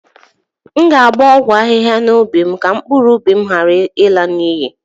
M ga-agba ọgwụ ahihia n'ubi m ka mkpụrụ ụbi ghara ịla n'iyi